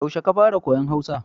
Yaushe ka fara koyon Hausa?